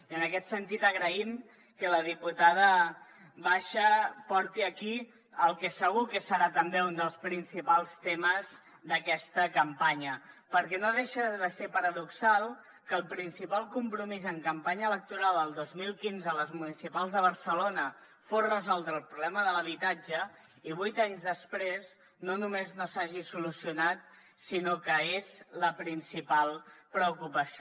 i en aquest sentit agraïm que la diputada basha porti aquí el que segur que serà també un dels principals temes d’aquesta campanya perquè no deixa de ser paradoxal que el principal compromís en campanya electoral del dos mil quinze a les municipals de barcelona fos resoldre el problema de l’habitatge i vuit anys després no només no s’hagi solucionat sinó que és la principal preocupació